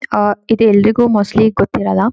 ಆಹ್ಹ್ ಇದು ಎಲ್ಲರಿಗೂ ಮೋಸ್ಟ್ಲಿ ಗೊತ್ತಿರಲ್ಲ-